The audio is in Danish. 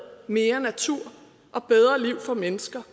mere natur og bedre liv for mennesker